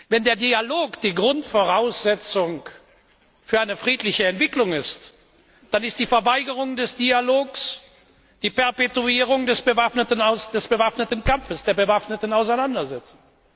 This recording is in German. Wenn der Dialog die Grundvoraussetzung für eine friedliche Entwicklung ist, dann ist die Verweigerung des Dialogs die Perpetuierung des bewaffneten Kampfes, der bewaffneten Auseinandersetzung.